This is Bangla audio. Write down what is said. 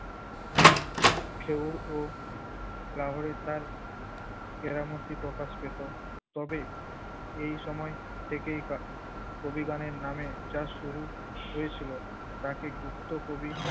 খেউর ও প্রাহরি তার কেরামতি প্রকাশ পেত। তবে এই সময় থেকেই কা~ কবিগানের নামে যা শুরু হয়েছিল তাকে গুপ্ত কবি